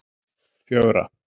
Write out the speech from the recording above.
fjögra